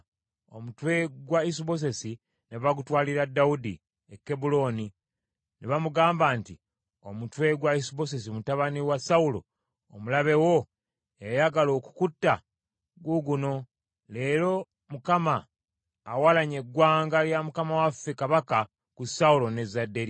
Omutwe gwa Isubosesi ne bagutwalira Dawudi e Kebbulooni, ne bamugamba nti, “Omutwe gwa Isubosesi mutabani wa Sawulo omulabe wo, eyayagala okukutta, guuguno. Leero Mukama awalanye eggwanga lya mukama waffe kabaka ku Sawulo n’ezzadde lye.”